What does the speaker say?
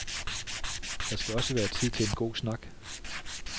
Der skal også være tid til en god snak.